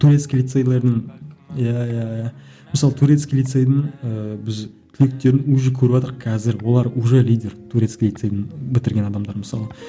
турецкий лицейлердің иә иә иә мысалы турецкий лицейдің ыыы біз түлектерін уже қазір олар уже лидер турецкий лицейдің бітірген адамдар мысалы